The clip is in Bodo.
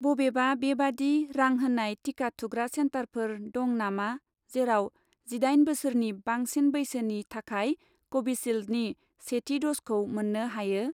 बबेबा बेबादि रां होनाय टिका थुग्रा सेन्टारफोर दं नामा जेराव जिदाइन बोसोरनि बांसिन बैसोनि थाखाय कभिसिल्दनि सेथि द'जखौ मोन्नो हायो?